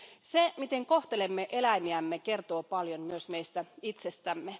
Se miten kohtelemme eläimiämme, kertoo paljon myös meistä itsestämme.